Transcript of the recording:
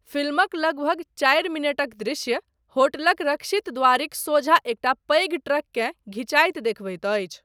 फिल्मक लगभग चारि मिनटक दृश्य, होटलक रक्षित द्वारिक सोझाँ एकटा पैघ ट्रककेँ घिचाइत देखबैत अछि।